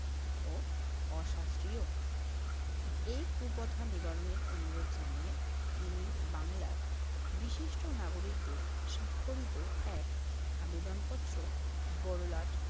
ও অশাস্ত্রীয়। এই কুপ্রথা নিবারণের অনুরোধ জানিয়ে তিনি বাংলার বিশিষ্ট নাগরিকদের স্বাক্ষরিত এক আবেদনপত্র বড়লাট